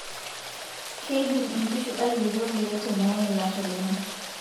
Keidim nkishu ailepie kule teneeye ilasho lenye.